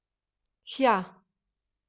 Hja ...